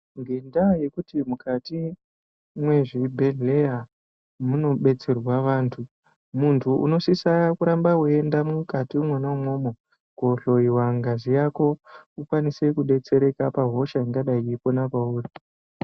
Ngenda yekuti mukati mwe zvibhedhleya muno betserwa vantu muntu unosisa kuramba wei enda mukati imwona imwomwo ko hloyiwa ngazi yako ukwanise ku detsereka pa hosha ingadai yeipona pauri .